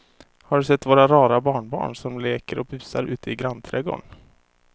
Har du sett våra rara barnbarn som leker och busar ute i grannträdgården!